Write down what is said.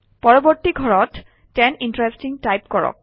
পৰৱৰ্তী ঘৰত ten interesting type কৰক